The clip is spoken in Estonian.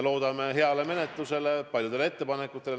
Loodame heale menetlusele, paljudele ettepanekutele.